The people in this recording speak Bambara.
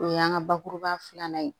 O y'an ka bakuruba filanan ye